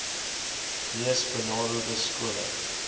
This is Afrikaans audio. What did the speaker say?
mees benadeelde skole